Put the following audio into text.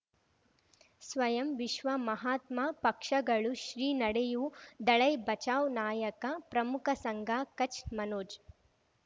ಸ್ವಯಂ ವಿಶ್ವ ಮಹಾತ್ಮ ಪಕ್ಷಗಳು ಶ್ರೀ ನಡೆಯೂ ದಲೈ ಬಚೌ ನಾಯಕ ಪ್ರಮುಖ ಸಂಘ ಕಚ್ ಮನೋಜ್